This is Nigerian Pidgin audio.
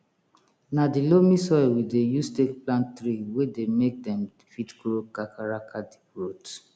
na di loamy soil we dey use take plant tree wey dey make dem fit grow kakaraka deep root